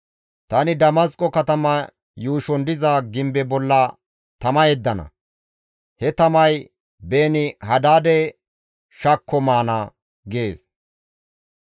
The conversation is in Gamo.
Tani Damasqo katama yuushon diza gimbe bolla tama yeddana; he tamay Beeni-Hadaade shakko maana» gees.